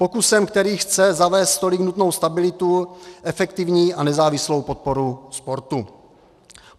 Pokusem, který chce zavést tolik nutnou stabilitu, efektivní a nezávislou podporu sportu.